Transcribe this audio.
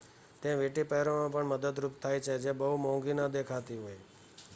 તે વીંટી પહેરવામાં પણ મદદરૂપ થાય છે જે બહુ મોંઘી ન દેખાતી હોઈ